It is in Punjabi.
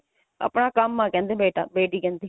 ਆਪਣਾ ਕੰਮ ਆ ਕਹਿੰਦੇ ਬੇਟਾ ਬੇਟੀ ਕਹਿੰਦੀ